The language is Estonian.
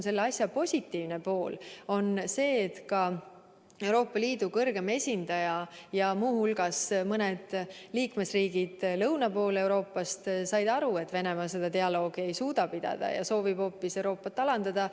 Selle asja positiivne pool on see, et ka Euroopa Liidu kõrge esindaja ja muu hulgas mõned liikmesriigid lõuna pool Euroopas said aru, et Venemaa seda dialoogi ei suuda pidada ja soovib hoopis Euroopat alandada.